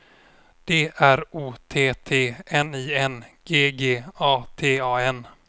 D R O T T N I N G G A T A N